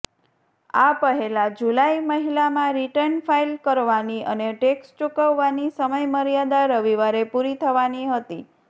આ પહેલાં જુલાઈ મહિલામાં રિટર્ન ફાઇલ કરવાની અને ટેક્સ ચૂકવવાની સમયમર્યાદા રવિવારે પૂરી થવાની હતી